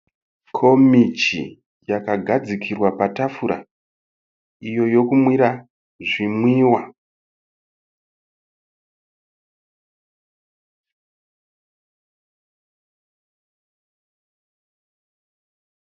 Komichi yakagadzirwa patafura, iyo yokumwira zvimwiwa.